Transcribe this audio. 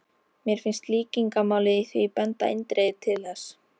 Mér finnst líkingamálið í því benda eindregið til þess.